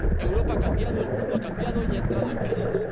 Europa ha cambiado, el mundo ha cambiado y ha entrado en crisis.